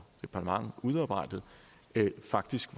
departement udarbejdet faktisk